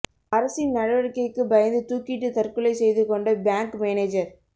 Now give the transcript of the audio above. அரசின் நடவடிக்கைக்கு பயந்து தூக்கிட்டு தற்கொலை செய்து கொண்ட பேங்க் மேனேஜர்